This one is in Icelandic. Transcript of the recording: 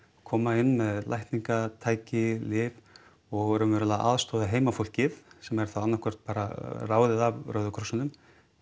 koma inn með lækningatæki lyf og raunverulega aðstoða heimafólkið sem er þá annað hvort bara ráðið af Rauða krossinum